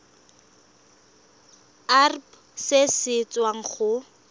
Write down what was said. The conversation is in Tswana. irp se se tswang go